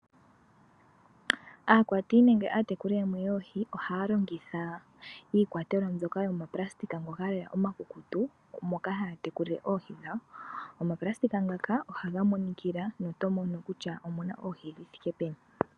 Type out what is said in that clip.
Aakwati nenge aatekuli yamwe yoohi ohaya longitha iikwatelwa mbyoka yoma pulasitika ngoka lela omakukutu. Moka haya tekulile Oohi dhawo, omapulastika ngaka ohaga monikila no to mono kutya omuna Oohi dhi thike peni.